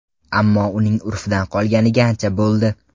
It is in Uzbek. Ammo uning urfdan qolganiga ancha bo‘ldi.